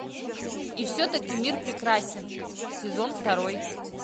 и все таки мир прекрасен сезон второй